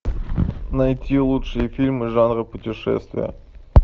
найти лучшие фильмы жанра путешествия